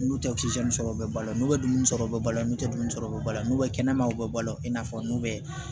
N'u tɛ kisɛ sɔrɔ u bɛ balɔn n'u bɛ dumuni sɔrɔ u bɛ balo n'u ye dumuni sɔrɔ ba la n'u bɛ kɛnɛma u bɛ balo i n'a fɔ n'u bɛ